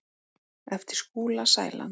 eftir Skúla Sæland.